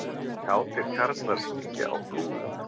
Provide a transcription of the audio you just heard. Kátir karlar syngja á Flúðum